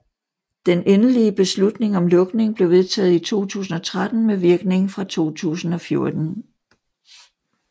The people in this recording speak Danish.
Den endelige beslutning om lukning blev vedtaget i 2013 med virkning fra 2014